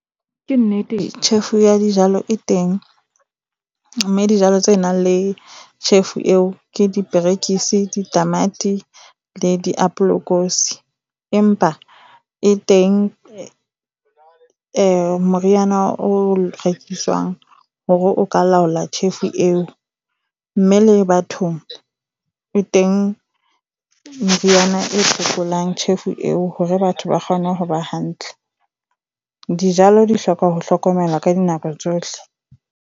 Ke nnete, tjhefu ya dijalo e teng mme dijalo tse nang le tjhefu eo ke diperekisi, ditamati le diapolekosi. Empa e teng moriana o rekiswang hore o ka laola tjhefu eo. Mme le bathong e teng meriana e phekolang tjhefu eo hore batho ba kgone ho ba hantle. Dijalo di hloka ho hlokomelwa ka dinako tsohle.